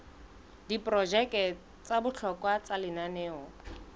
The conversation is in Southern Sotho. diprojeke tsa bohlokwa tsa lenaneo